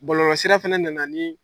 Bɔlɔlɔsira fana nana ni